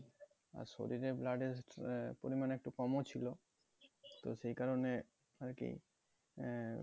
শরীরে blood এর আহ পরিমাণ একটু কমও ছিল তো সেই কারণে আরকি আহ